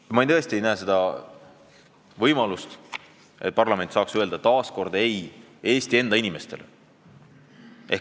Nüüd ma tõesti ei näe võimalust, et parlament taas Eesti enda inimestele ei ütleb.